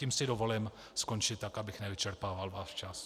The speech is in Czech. Tím si dovolím skončit tak, abych nevyčerpával váš čas.